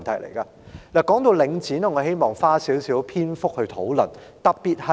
談到領展，我希望花少許篇幅討論。